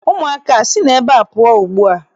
Ụmụaka a, sinụ ebe ahụ pụọ ugbu a!